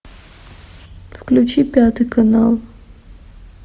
включи пятый канал